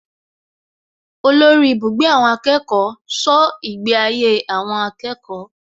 Olórí ibùgbé àwọn akẹ́kọ̀ọ́ ṣọ́ ìgbé ayé àwọn akẹ́kọ̀ọ́